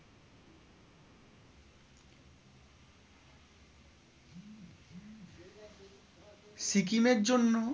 সিকিমের জন্য